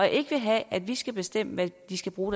ikke vil have at vi skal bestemme hvad de skal bruge